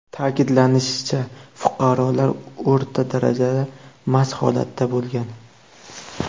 Ta’kidlanishicha, fuqarolar o‘rta darajada mast holatda bo‘lgan.